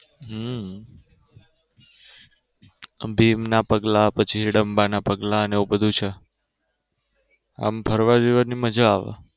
હમ ભીમ ના પગલાં ને પછી હિડમ્બા ના પગલાં એવું બધું છે આમ ફરવા જવાની મજા આવે.